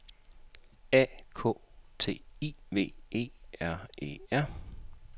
A K T I V E R E R